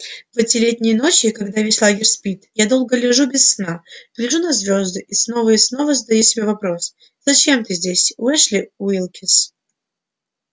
в эти летние ночи когда весь лагерь спит я долго лежу без сна гляжу на звезды и снова и снова задаю себе вопрос зачем ты здесь эшли уилкс